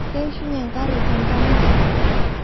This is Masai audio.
Keishunye nkare tentanki